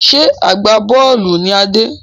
Ṣé agbá-bọ́ọ́lù ni Adé?